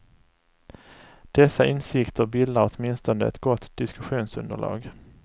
Dessa insikter bildar åtminstone ett gott diskussionsunderlag.